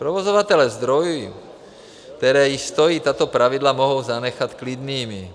Provozovatele zdrojů, které již stojí, tato pravidla mohou zanechat klidnými.